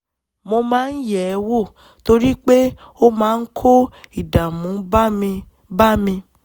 mo máa ń yẹ̀ ẹ́ wò torí pé ó máa ń kó ìdààmú bá mi bá mi